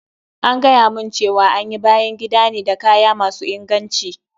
An gayamun cewa an yi bayan gidan ne da kaya masu inganci.